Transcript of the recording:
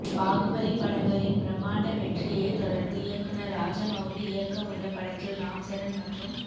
பாகுபலி படங்களின் பிரமாண்ட வெற்றியை தொடர்ந்து இயக்குனர் ராஜமவுலி இயக்கவுள்ள படத்தில் ராம்சரண் மற்றும்